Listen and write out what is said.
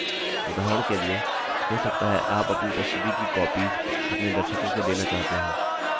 उदाहरण के लिए हो सकता है आप अपनी प्रस्तुति की copies अपने दर्शकों को देना चाहते हो